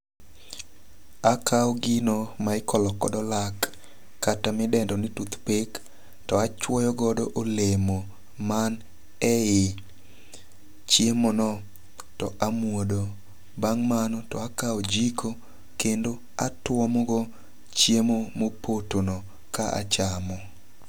Akaw gino ma ikolo godo lak kata midendo ni toothpick to achwoyo go olemo man e yi chiemo no to amuodo. Bang' mano akwa ojiko kendo atuomo go chiemo mopoto no ka achamo.